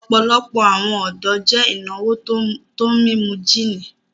Ọ̀pọ̀lọpọ̀ awọn ọdọ jẹ́ ináwó tó mímú jìní